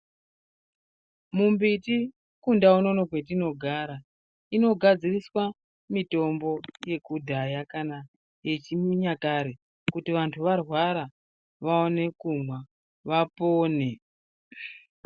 Mumbiti kundau unono kwetinogara, inogadziriswa mitombo yekudhaya kana yechinyakare kuti vantu varwara vaone kumwa vapone.